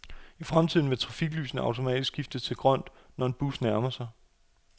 I fremtiden vil trafiklysene automatisk skifte til grønt, når en bus nærmer sig.